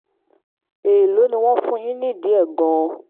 èèló ni wọn yóò fún wọn nídìí ẹ̀ gan-an